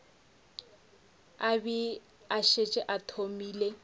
be a šetše a thomile